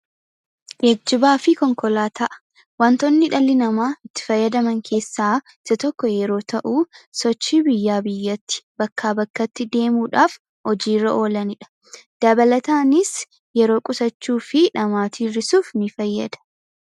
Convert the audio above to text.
Geejjibaa fi konkolaataa: Wantootni dhalli namaa itti fayyadaman keessaa isa tokko yommuu ta'u, sochii biyyaa biyyatti ,bakkaa bakkatti deemuudhaaf hojiirra oolanidha. Dabalataanis yeroo qusachuu fi dhamaatii hir'isuuf ni fayyada.